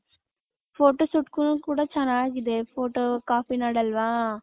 photo shoot ಗುನು ಕೂಡ ಚೆನ್ನಾಗಿದೆ photo ಕಾಫಿ ನಾಡ್ ಅಲ್ವ.